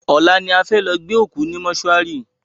Ọ̀la ni a fẹ́ lọ gbé òkú ní mòsúary